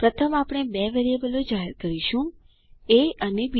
પ્રથમ આપણે બે વેરિયેબલો જાહેર કરીશું એ અને બી